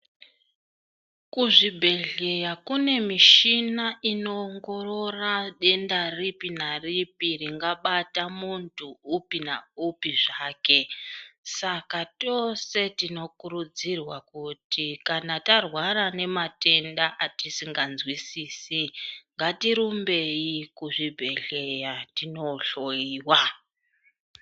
Kuzvibhedhleya kune michina inoongorora denda ripi naripi ringabata munhu upi na upi zvake saka tose tinokurudzirwa kuti kana tarwara nematenda atisingazwisisi ngatirumbei kuzvibhedheya tindohloyiwa.